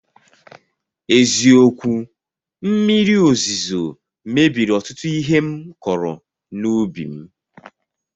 Eziokwu, mmiri ozuzo mebiri ọtụtụ ihe m kọrọ n'ubi m